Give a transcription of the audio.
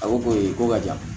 A ko ko e ko ka jan